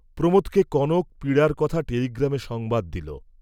প্রমোদকে কনক পীড়ার কথা টেলিগ্রামে সংবাদ দিল।